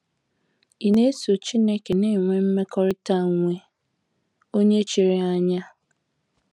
Ị̀ na - eso Chineke na - enwe mmekọrịta onwe onye chiri anya?